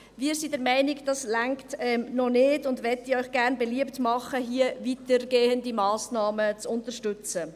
Wir sind der Meinung, das reiche noch nicht, und möchten Ihnen gerne beliebt machen, hier weitergehende Massnahmen zu unterstützen.